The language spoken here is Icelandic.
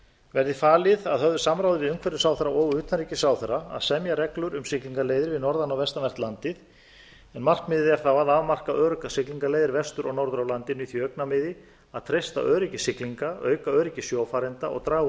verði falið að höfðu samráði við umhverfisráðherra og utanríkisráðherra að semja reglur um siglingaleiðir við norðan og vestanvert landið markmiðið er þá að afmarka öruggar siglingaleiðir vestur og norður af landinu í því augnamiði að treysta öryggi siglinga auka öryggi sjófarenda og draga úr